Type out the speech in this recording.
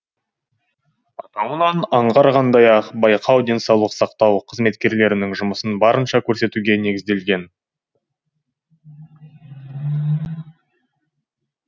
атауынан аңғарғандай ақ байқау денсаулық сақтау қызметкерлерінің жұмысын барынша көрсетуге негізделген